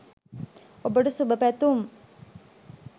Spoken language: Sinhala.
ඔබට සුභ පැතුම්!